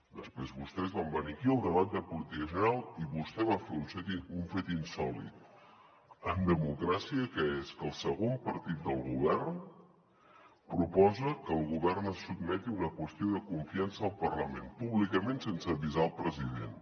després vostès van venir aquí al debat de política general i vostè va fer un fet insòlit en democràcia que és que el segon partit del govern proposa que el govern es sotmeti a una qüestió de confiança al parlament públicament sense avisar el president